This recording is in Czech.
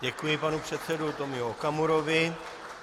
Děkuji pane předsedovi Tomiu Okamurovi.